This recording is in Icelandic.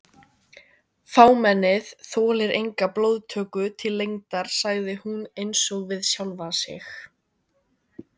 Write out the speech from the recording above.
Fámennið þolir enga blóðtöku til lengdar sagði hún einsog við sjálfa sig.